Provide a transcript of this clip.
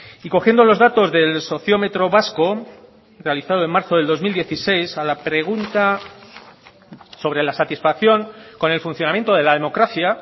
y cogiendo los datos del sociómetro vasco realizado en marzo del dos mil dieciséis a la pregunta sobre la satisfacción con el funcionamiento de la democracia